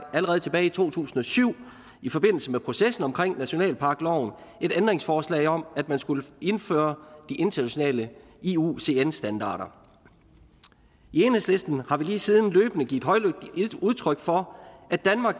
allerede tilbage i to tusind og syv i forbindelse med processen omkring nationalparkloven et ændringsforslag om at man skulle indføre de internationale iucn standarder i enhedslisten har vi lige siden løbende givet højlydt udtryk for at danmark